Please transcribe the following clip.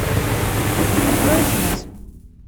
открой смс